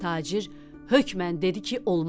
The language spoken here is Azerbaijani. Tacir hökmən dedi ki, olmaz.